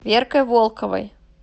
веркой волковой